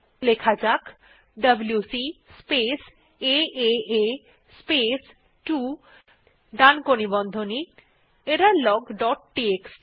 লেখা যাক WC space এএ স্পেস 2 ডানকোণী বন্ধনী এররলগ ডট টিএক্সটি